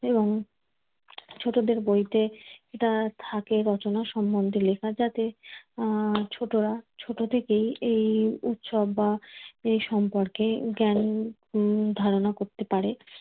এবং ছোটদের বইতে, এটা থাকে রচনা সম্বন্ধে লেখা যাতে আহ ছোটরা ছোট থেকেই এই উৎসব বা এই সম্পর্কে জ্ঞান উম ধারণা করতে পারে।